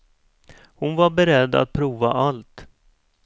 Hon var beredd att prova allt.